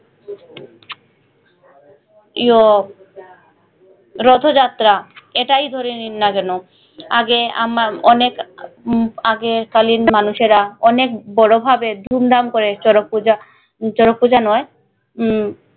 ইও রথো যাত্রা এটাই ধরে নিন না যেন আগে আমার অনেক উম আগের কালীন মানুষেরা অনেক বড়ো ভাবে ধুম ধাম করে চরক পূজা চরক পূজা নয় উম